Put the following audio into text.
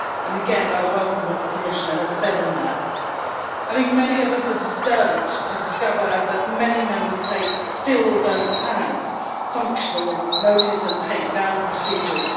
Again, I welcome what the Commissioner has said on that. I think many of us are disturbed to discover that many Member States still do not have functional notice and takedown procedures.